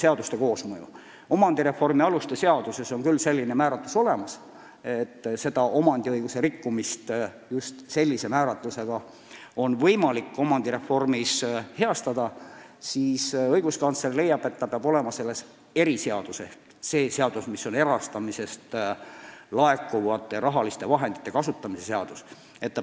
Eesti Vabariigi omandireformi aluste seaduses on küll kirjas, et omandiõiguse rikkumist just sellise määratlusega on võimalik omandireformi käigus heastada, aga õiguskantsler leiab, et see peab kirjas olema eriseaduses ehk erastamisest laekuva raha kasutamise seaduses.